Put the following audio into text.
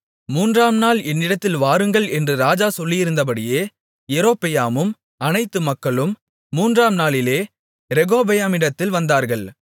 மூன்றாம் நாள் என்னிடத்தில் வாருங்கள் என்று ராஜா சொல்லியிருந்தபடியே யெரொபெயாமும் அனைத்து மக்களும் மூன்றாம் நாளிலே ரெகொபெயாமிடத்தில் வந்தார்கள்